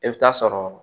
I bɛ taa sɔrɔ